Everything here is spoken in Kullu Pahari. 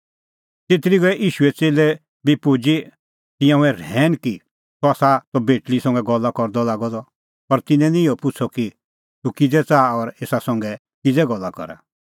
तेतरी गऐ ईशूए च़ेल्लै बी पुजी तिंयां हुऐ रहैन कि सह त तेसा बेटल़ी संघै गल्ला करदअ लागअ द पर तिन्नैं निं इहअ पुछ़अ कि तूह किज़ै च़ाहा और एसा संघै किज़ै गल्ला करा